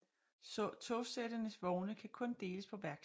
Togsættenes vogne kan kun deles på værksted